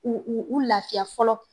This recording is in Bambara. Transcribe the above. U u u lafiya fɔlɔ